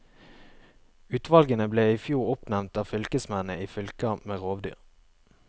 Utvalgene ble i fjor oppnevnt av fylkesmennene i fylker med rovdyr.